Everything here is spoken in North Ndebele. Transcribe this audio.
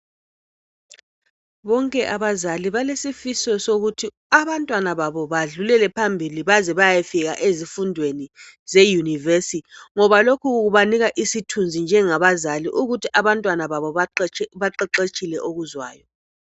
Bonke abazali balesifiso sokuthi abantwana babo, badlulele phambili. Baze bayefika ezifundweni ze-university. Lokhu kubanika isibindi njengabazali, ukuthi abantwana babo baqeqetshile okuzwayo,